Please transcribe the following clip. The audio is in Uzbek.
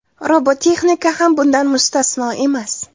Robototexnika ham bundan mustasno emas.